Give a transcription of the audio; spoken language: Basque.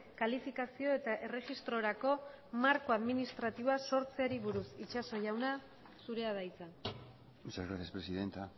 kalifikazio eta erregistrorako marko administratiboa sortzeari buruz itxaso jauna zurea da hitza muchas gracias presidenta